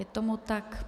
Je tomu tak.